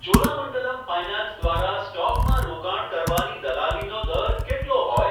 Cholamandalam finance દ્વારા સ્ટોકમાં રોકાણ કરવાની દલાલીનો દર કેટલો હોય ?